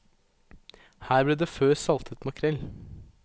Her ble det før saltet makrell.